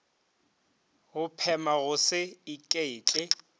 go phema go se iketle